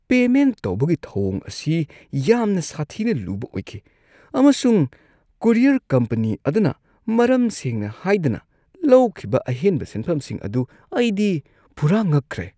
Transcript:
Payment ꯇꯧꯕꯒꯤ ꯊꯧꯋꯣꯡ ꯑꯁꯤ ꯌꯥꯝꯅ ꯁꯥꯊꯤꯅ ꯂꯨꯕ ꯑꯣꯏꯈꯤ, ꯑꯃꯁꯨꯡ ꯀꯨꯔꯤꯌꯔ ꯀꯝꯄꯅꯤ ꯑꯗꯨꯅ ꯃꯔꯝ ꯁꯦꯡꯅ ꯍꯥꯏꯗꯅ ꯂꯧꯈꯤꯕ ꯑꯍꯦꯟꯕ ꯁꯦꯟꯐꯝꯁꯤꯡ ꯑꯗꯨ ꯑꯩꯗꯤ ꯄꯨꯔꯥ ꯉꯛꯈ꯭ꯔꯦ꯫